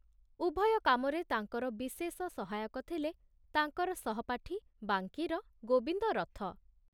ଉଭୟ କାମରେ ତାଙ୍କର ବିଶେଷ ସହାୟକ ଥିଲେ ତାଙ୍କର ସହପାଠୀ ବାଙ୍କୀର ଗୋବିନ୍ଦ ରଥ।